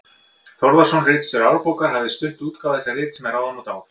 Þórðarson, ritstjóri Árbókar, hafa stutt útgáfu þessa rits með ráðum og dáð.